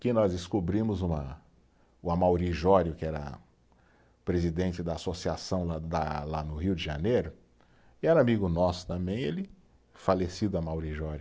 que nós descobrimos uma, o Amaury Jório, que era presidente da associação lá da, lá no Rio de Janeiro, e era amigo nosso também, ele, falecido Amaury Jório.